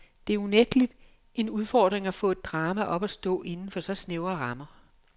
Det er unægtelig en udfordring at få et drama op at stå inden for så snævre rammer.